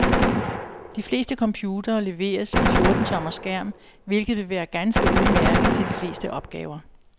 De fleste computere leveres med fjorten tommer skærm, hvilket vil være ganske udmærket til de fleste opgaver.